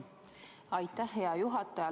Aitäh, hea juhataja!